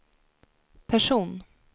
person